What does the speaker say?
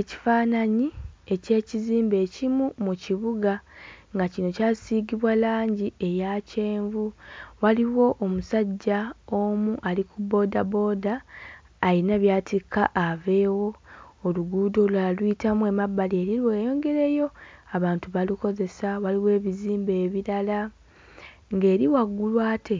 Ekifaananyi eky'ekizimbe ekimu mu kibuga nga kino kyasiigibwa langi eya kyenvu. Waliwo omusajja omu ali ku bbooda booda alina by'atikka aveewo. Oluguudo olulala luyitamu emabbali eri lweyongerayo. Abantu balukozesa, waliwo ebizimbe ebirala, ng'eri waggulu ate